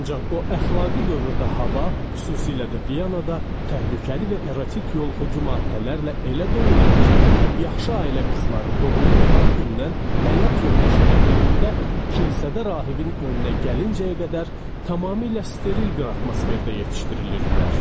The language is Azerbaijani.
Ancaq o əxlaqi dövrdə hava, xüsusilə də Vyanada təhlükəli və erotik yoluxucu maddələrlə elə dolu idi ki, yaxşı ailə qızları doğulduqları gündən həyat yoldaşı ilə birlikdə kilsədə rahibin önünə gəlincəyə qədər tamamilə steril bir atmosferdə yetişdirilirdilər.